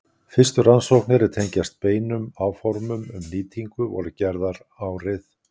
Fyrstu rannsóknir er tengjast beinum áformum um nýtingu voru gerðar árið